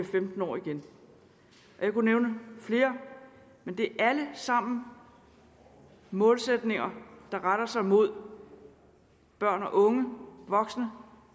femten år igen og jeg kunne nævne flere men det er alle sammen målsætninger der retter sig mod børn og unge og voksne